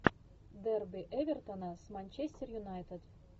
дерби эвертона с манчестер юнайтед